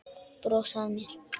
Brosa að mér!